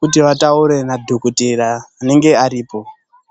kuti vataure nadhogodheya anenge aripo.